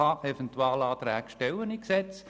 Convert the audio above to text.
Eventualanträge sind gesetzlich vorgesehen.